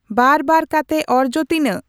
ᱵᱟᱨ ᱵᱟᱨ ᱠᱟᱛᱮ ᱚᱨᱡᱚ ᱛᱤᱱᱟᱹᱜ